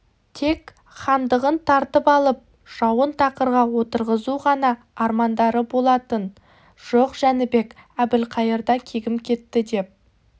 тек хандығын тартып алып жауын тақырға отырғызу ғана армандары болатын жоқ жәнібек әбілқайырда кегім кетті деп